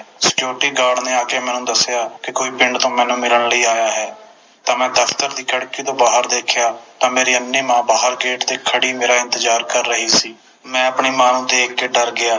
Security Guard ਨੇ ਆ ਕੇ ਮੈਨੂੰ ਦਸਿਆ ਕੇ ਪਿੰਡ ਤੋਂ ਕੋਈ ਮੈਨੂੰ ਮਿਲਣ ਲਈ ਆਇਆ ਹੈ ਤਾ ਮੈਂ ਦਫਤਰ ਦੀ ਖਿੜਕੀ ਤੋਂ ਬਾਹਰ ਦੇਖਿਆ ਤਾ ਮੇਰੀ ਅੰਨ੍ਹੀ ਮਾਂ ਗੇਟ ਤੇ ਬਾਹਰ ਖੜ੍ਹੀ ਮੇਰਾ ਇੰਤਜਾਰ ਕਰ ਰਹੀ ਸੀ ਮੈਂ ਆਪਣੀ ਮਾਂ ਨੂੰ ਦੇਖ ਕੇ ਡਰ ਗਿਆ